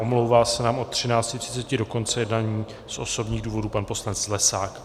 Omlouvá se nám od 13.30 do konce jednání z osobních důvodů pan poslanec Zlesák.